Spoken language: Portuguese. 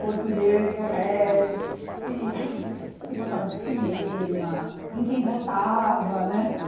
Português correto, se se gostava de cinema, em quem votava, né?